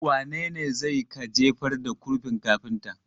Wane ne zai ka jefar da kurfin kafinta?